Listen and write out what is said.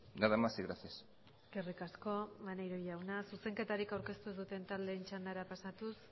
nada más y gracias eskerrik asko maneiro jauna zuzenketarik aurkeztu ez duten taldeen txandara pasatuz